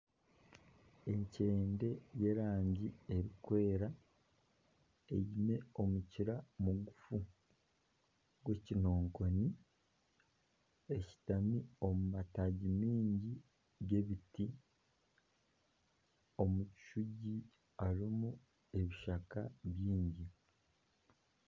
Enkyende y'erangi erikwera eine omukira mugufu gw'ekinonkoni. Eshutami omu mataagi mangi g'ebiti. Omu kishugi harimu ebishaka bingi.